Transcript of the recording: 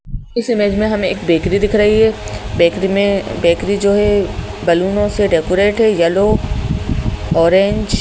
इस इमेज में हमें एक बेकरी दिख रही है बेकरी में बेकरी जो है बैलूनों से डेकोरेट है येलो ऑरेंज